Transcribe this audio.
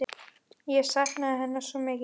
Ég sakna hennar svo mikið.